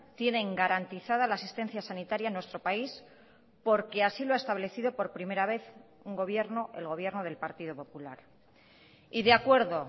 tienen garantizada la asistencia sanitaria en nuestro país porque así lo ha establecido por primera vez un gobierno el gobierno del partido popular y de acuerdo